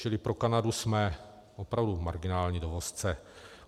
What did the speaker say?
Čili pro Kanadu jsme opravdu marginální dovozce.